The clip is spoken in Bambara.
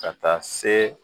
Ka taa see